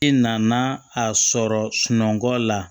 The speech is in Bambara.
I nana a sɔrɔ sunɔgɔ la